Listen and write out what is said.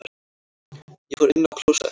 Ég fór inn á klósett.